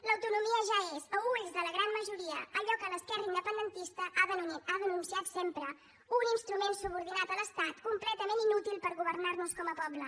l’autonomia ja és a ulls de la gran majoria allò que l’esquerra independentista ha denunciat sempre un instrument subordinat a l’estat completament inútil per governar nos com a poble